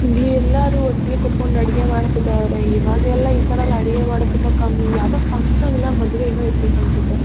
ಇಲ್ಲಿ ಎಲ್ಲಾರು ಒಟ್ಟಿಗೆ ಕುತ್ತಕೊಂಡು ಅಡಿಗೆ ಮಾಡುತ್ತಿದ್ದಾರೆ ಇವಾಗೆಲ್ಲಾ ಈ ತರ ಅಡಿಗೆ ಮಾಡುದು ತುಂಬಾ ಕಮ್ಮಿ ಯಾವದೋ ಫಕ್ಷನ್ ಇಲ್ಲಾ ಮದುವೆ ಏನೋ ಏರಬೇಕು ಅನ್ನ್ಸುತ್ತೆ .